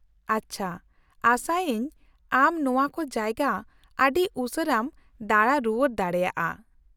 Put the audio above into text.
-ᱟᱪᱪᱷᱟ , ᱟᱸᱥᱟᱭᱟᱹᱧ ᱟᱢ ᱱᱚᱶᱟᱠᱚ ᱡᱟᱭᱜᱟ ᱟᱹᱰᱤ ᱩᱥᱟᱹᱨᱟᱢ ᱫᱟᱬᱟ ᱨᱩᱣᱟᱹᱲ ᱫᱟᱲᱮᱭᱟᱜᱼᱟ ᱾